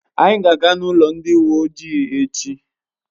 Anyị ga aga n'ụlọ ndị uwe ojii echi